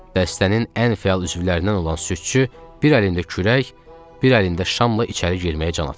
Dəstənin ən fəal üzvlərindən olan südçü bir əlində kürək, bir əlində şamla içəri girməyə can atırdı.